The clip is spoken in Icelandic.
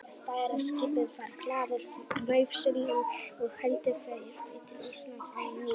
Stærra skipið var hlaðið nauðsynjum og héldu þeir til Íslands á ný.